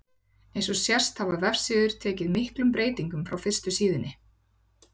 Eins og sést hafa vefsíður tekið miklum breytingum frá fyrstu síðunni.